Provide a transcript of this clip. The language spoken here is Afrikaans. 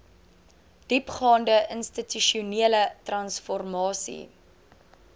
diepgaande institusionele transformasie